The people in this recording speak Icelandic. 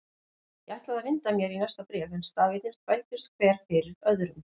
Ég ætlaði að vinda mér í næsta bréf en stafirnir þvældust hver fyrir öðrum.